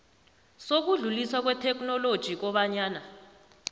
sokudluliswa kwetheknoloji kobanyana